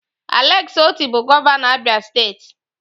Alex Otti bụ gọvanọ Abia steeti.